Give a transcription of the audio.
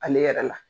Ale yɛrɛ la